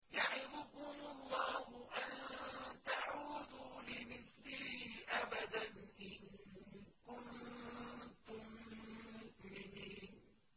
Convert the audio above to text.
يَعِظُكُمُ اللَّهُ أَن تَعُودُوا لِمِثْلِهِ أَبَدًا إِن كُنتُم مُّؤْمِنِينَ